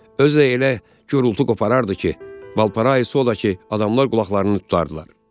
Özü də elə gürultu qopardardı ki, Balparay olsa da ki, adamlar qulaqlarını tutardılar.